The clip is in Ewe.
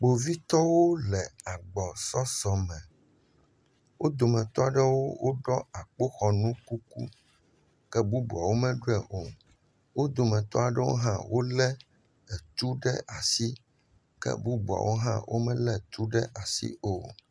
Kpovitɔwo le agbɔsɔsɔme. Wo dometɔ aɖewo woɖɔ akpoxɔnu kuku. Ke bubuawo meɖiɔɛ o. Wo dometɔ aɖewo hã wolé etu ɖe asi. Ke bubuawo hã womelé tu ɖe asi o.